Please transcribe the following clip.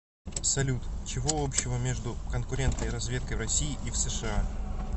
салют чего общего между конкурентной разведкой в россии и в сша